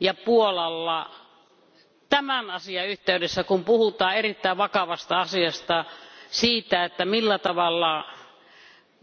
ja Puolalla tämän asian yhteydessä, kun puhutaan erittäin vakavasta asiasta, eli siitä, millä tavalla maahanmuuttajavirta,